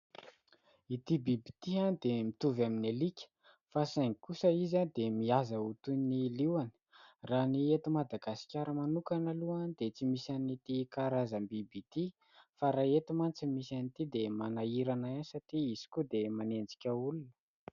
Ity biby ity dia mitovy amin'ny alika fa saingy kosa izy dia mihaza ho toy ny liona ; raha ny eto Madagasikara manokana aloha dia tsy misy an' ity karazam- biby ity, fa raha eto mantsy no misy an'ity, dia manahirana ihany satria izy koa dia manenjika olona.